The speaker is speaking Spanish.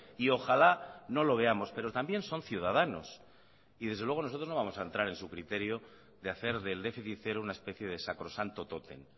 y ojalá no lo veamos pero también son ciudadanos y desde luego nosotros no vamos a entrar en su criterio de hacer del déficit cero una especie de sacrosanto tótem